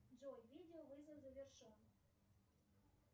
джой видео вызов завершен